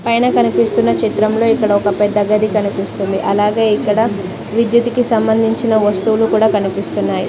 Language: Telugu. పైన కనిపిస్తున్న చిత్రంలో ఇక్కడొక పెద్ద గది కనిపిస్తుంది అలాగే ఇక్కడ విద్యుత్ కి సంబంధించిన వస్తువులు కూడా కనిపిస్తున్నాయి.